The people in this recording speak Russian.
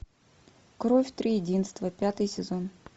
кровь триединства пятый сезон